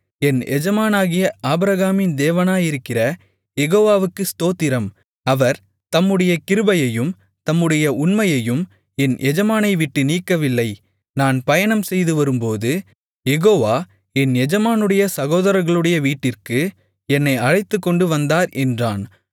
என் எஜமானாகிய ஆபிரகாமின் தேவனாயிருக்கிற யெகோவாவுக்கு ஸ்தோத்திரம் அவர் தம்முடைய கிருபையையும் தம்முடைய உண்மையையும் என் எஜமானை விட்டு நீக்கவில்லை நான் பயணம் செய்துவரும்போது யெகோவா என் எஜமானுடைய சகோதரர்களுடைய வீட்டிற்கு என்னை அழைத்துக்கொண்டு வந்தார் என்றான்